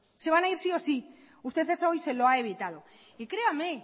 se van a ir sí o sí usted eso hoy se lo ha evitado y créame